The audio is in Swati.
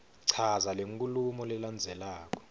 chaza lenkhulumo lelandzelako